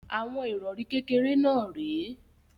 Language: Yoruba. Àwọn ìrọrí kékèké náà rè é.